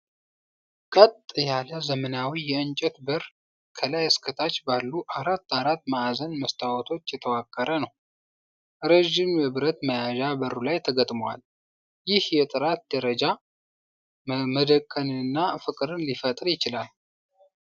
ቀጥ ያለ፣ ዘመናዊ የእንጨት በር፣ ከላይ እስከ ታች ባሉ አራት አራት ማዕዘን መስታወቶች የተዋቀረ ነው። ረዥም የብረት መያዣ በሩ ላይ ተገጥሟል። ይህ የጥራት ደረጃ መደነቅንና ፍቅርን ሊፈጥር ይችላል።